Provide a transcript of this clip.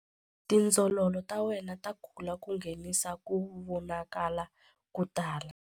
Tindzololo ta wena ta kula ku nghenisa ku vonakala ko tala.